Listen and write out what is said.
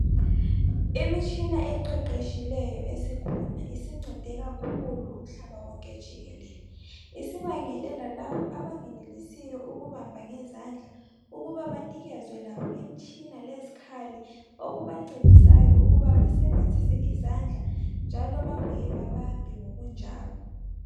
Imitshina esiqeqetshileyo esikhona isincede kakhulu umhlaba wonke jikelele sibangele lalabo abengenelisiyo ukubamba ngezandla ukubabanikezwe laba imitshina lezikhali okubancedisayo njalo babuye babambe ngokunjalo